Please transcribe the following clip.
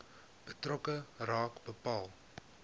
betrokke raad bepaal